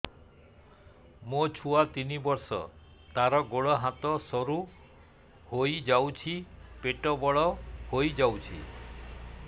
ମୋ ଛୁଆ ତିନି ବର୍ଷ ତାର ଗୋଡ ହାତ ସରୁ ହୋଇଯାଉଛି ପେଟ ବଡ ହୋଇ ଯାଉଛି